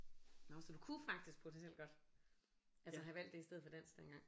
Nåh så du kunne faktisk potentielt godt altså have valgt det i stedet for dansk dengang